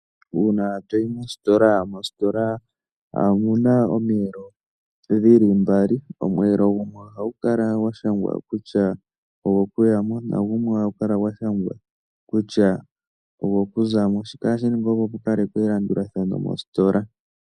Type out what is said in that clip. Uuna to yi mositola, mositola omu na omiyelo dhi li mbali. Omweelo gumwe ohagu kala gwa shangwa kutya ogokuya mo nagumwe ohagu kala gwa shangwa kutya ogokuza mo. Shika ohashi ningwa, opo pu kalekwe elandulathano mositola.